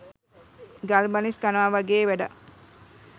ගල් බනිස් කනවා වගේ වැඩක්.